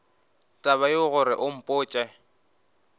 taba yeo gore o mpotše